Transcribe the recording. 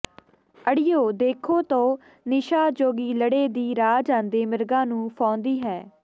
ਅੜੀਉ ਦੇਖੋ ਤੋ ਨਿਸ਼ਾ ਜੋਗੀਲੜੇ ਦੀ ਰਾਹ ਜਾਂਦੇ ਮਿਰਗਾਂ ਨੂੰ ਫਾਹੁੰਦੀ ਹੈ